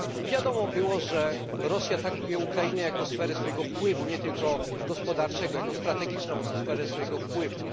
Wiadomo było, że Rosja traktuje Ukrainę jako sferę swojego wpływu, nie tylko gospodarczego, jako strategiczną sferę swojego wpływu.